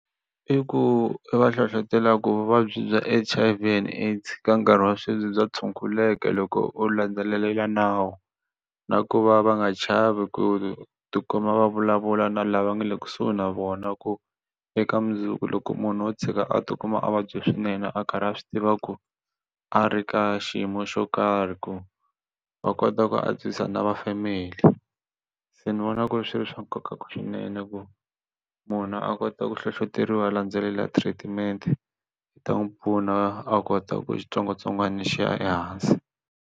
I ku i va hlohletela ku vuvabyi bya H_I_V and AIDS ka nkarhi wa sweswi bya tshunguleka loko u landzelela nawu na ku va va nga chavi ku tikuma va vulavula na lava nga le kusuhi na vona ku eka mundzuku loko munhu o tshika a tikuma a vabya swinene a karhi a swi tiva ku a ri ka xiyimo xo karhi ku va kota ku antswisa na va family se ni vona ku ri swi ri swa nkoka swinene ku munhu a kota ku hlohloteriwa landzelela treatment yi ta n'wi pfuna a kota ku xitsongwatsongwana xi ya ehansi.